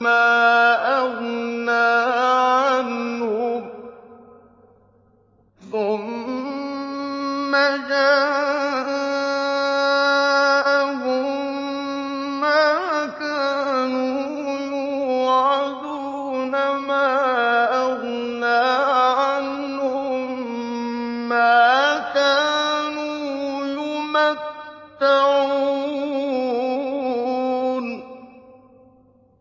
مَا أَغْنَىٰ عَنْهُم مَّا كَانُوا يُمَتَّعُونَ